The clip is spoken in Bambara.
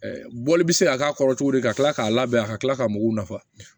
Bɔli bɛ se ka k'a kɔrɔ cogodi ka kila k'a labɛn a ka tila ka mɔgɔw nafa